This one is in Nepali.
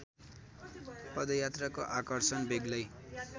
पदयात्राको आकर्षण बेग्लै